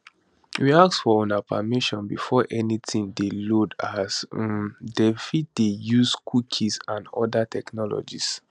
we ask for una permission before anytin dey loaded as um dem fit dey use cookies and oda technologies